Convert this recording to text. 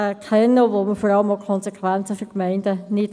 insbesondere kennen wir auch die Konsequenzen für die Gemeinden nicht.